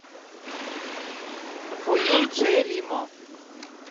фо ю джэй лимо